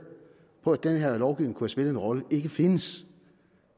på at den her lovgivning kunne have spillet en rolle ikke findes